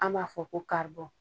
An b'a fɔ ko karibɔ.